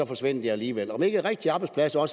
forsvinder alligevel er rigtige arbejdspladser